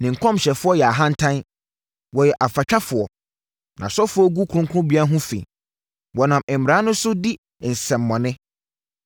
Ne nkɔmhyɛfoɔ yɛ ahantan; wɔyɛ afatwafoɔ. Nʼasɔfoɔ gu kronkronbea ho fi. Wɔnam mmara no so di nsɛmmɔne.